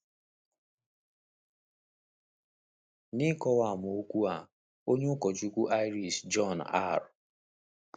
N’ịkọwa amaokwu a, onye ụkọchukwu Irish John R.